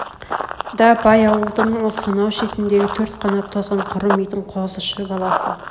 да бай аулдың сонау шетндегі төрт қанат тозған құрым үйдің қозышы баласы